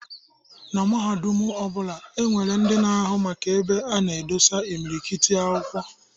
Na mahadum ọ bụla, e nwere ndị na-ahụ maka ebe a na-edosi imilikiti akwụkwọ.